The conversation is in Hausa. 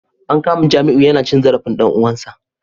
An kama Jamiu yana cin zarafin dan uwansa